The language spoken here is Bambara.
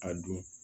A don